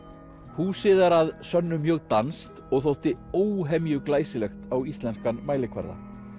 húsið er að sönnu mjög danskt og þótti óhemju glæsilegt á íslenskan mælikvarða